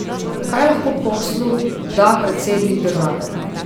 Kaj lahko poslu da predsednik države?